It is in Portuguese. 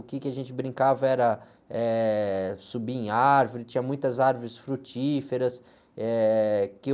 O quê que a gente brincava era, eh, subir em árvores, tinha muitas árvores frutíferas. Eh...